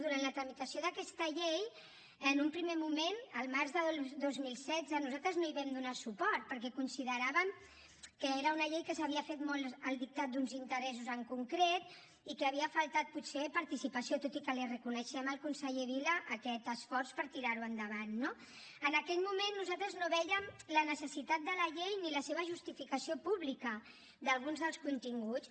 durant la tramitació d’aquesta llei en un primer moment al març del dos mil setze nosaltres no hi vam donar suport perquè consideràvem que era una llei que s’havia fet molt al dictat d’uns interessos en concret i que hi havia faltat potser participació tot i que li reconeixem al conseller vila aquest esforç per tirar ho endavant no en aquell moment nosaltres no vèiem la necessitat de la llei ni la seva justificació pública d’alguns dels continguts